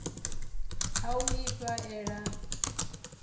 ha u ifha ela na